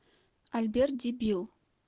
альберт дебил